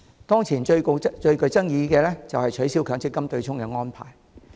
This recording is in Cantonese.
當前最具爭議的就是取消強積金的對沖安排。